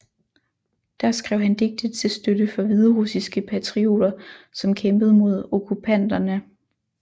Der skrev han digte til støtte for hviderussiske patrioter som kæmpede mod okkupanterne